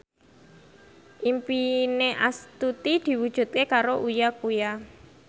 impine Astuti diwujudke karo Uya Kuya